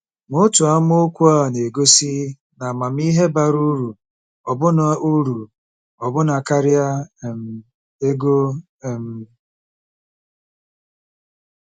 Ma otu amaokwu a na-egosi na amamihe bara uru ọbụna uru ọbụna karịa um ego um.